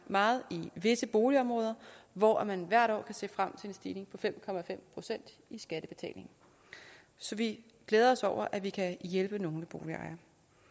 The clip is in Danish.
meget i visse boligområder hvor man hvert år kan se frem til en stigning på fem procent i skattebetaling så vi glæder os over at vi kan hjælpe nogle boligejere